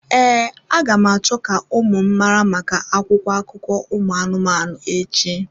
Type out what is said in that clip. Ee, aga m acho ka ụmụ m mara maka akwụkwọ akụkọ ụmụ anụmanụ echi.